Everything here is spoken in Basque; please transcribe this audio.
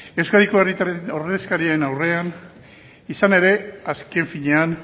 euskadiko herritarren ordezkarien aurrean izan ere azken finean